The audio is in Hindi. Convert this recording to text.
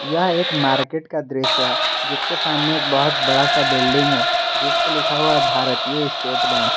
यह एक मार्केट का दृश्य है जिसके सामने बहुत बड़ा सा बिल्डिंग है जिसके ऊपर लिखा हुआ है भारतीय स्टेट बैंक ।